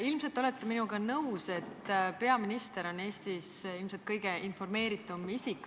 Ilmselt olete minuga nõus, et peaminister on Eestis küllap kõige informeeritum isik.